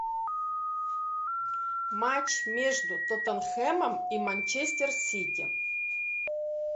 матч между тоттенхэмом и манчестер сити